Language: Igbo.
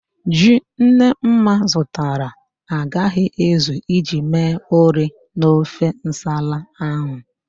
Ji Nnemma zụtara agaghị ezu iji mee ụrị n'ofe nsala ahụ